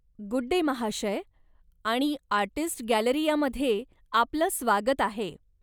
Good day, महाशय, आणि artists गॅलरियामध्ये आपलं स्वागत आहे!